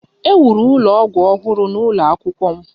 E wuru ụlọ ọgwụ ọhụrụ n'ụlọ akwụkwọ m